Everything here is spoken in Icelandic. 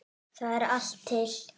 Þar er allt til.